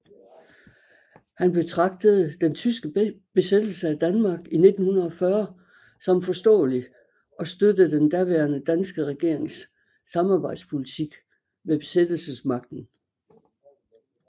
Han betragtede den tyske besættelse af Danmark i 1940 som forståelig og støttede den daværende danske regerings samarbejdspolitik med besættelsesmagten